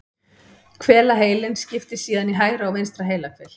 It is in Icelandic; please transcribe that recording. Hvelaheilinn skiptist síðan í hægra og vinstra heilahvel.